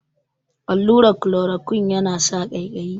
Allurar kolorokuine ya na sa ƙaiƙayi